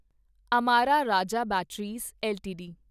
Amara Raja batteries LTD